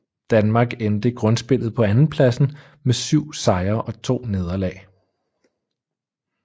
Danmark endte grundspillet på andenpladsen med 7 sejre og 2 nederlag